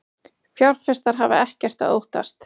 Fjárfestar hafa ekkert að óttast